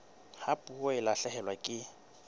ha puo e lahlehelwa ke